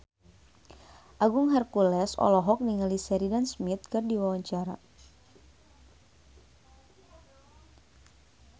Agung Hercules olohok ningali Sheridan Smith keur diwawancara